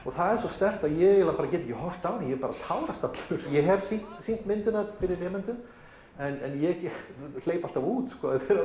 það er svo sterkt að ég get ekki horft á mig ég tárast allur ég hef sýnt sýnt myndina fyrir nemendum en ég hleyp alltaf út